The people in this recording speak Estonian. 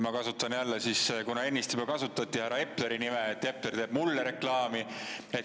Ma kasutan jälle – ennist korra juba kasutati – härra Epleri nime, Epler teeb mulle reklaami.